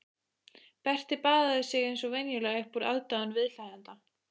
Berti baðaði sig eins og venjulega upp úr aðdáun viðhlæjenda.